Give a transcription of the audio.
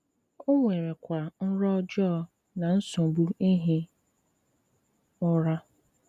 O nwèrèkwa nrọ ọjọọ na nsọ̀bù ìhì ùrà.